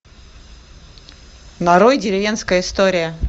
нарой деревенская история